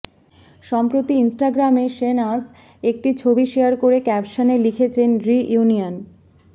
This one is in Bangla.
সম্প্রতি ইনস্টাগ্রামে শেহনাজ একটি ছবি শেয়ার করে ক্যাপশনে লিখেছেন রিইউনিয়ন